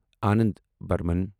Anand Burman